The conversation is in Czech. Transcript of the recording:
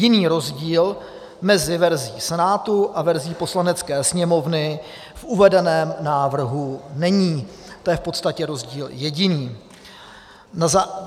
Jiný rozdíl mezi verzí Senátu a verzí Poslanecké sněmovny v uvedeném návrhu není, to je v podstatě rozdíl jediný.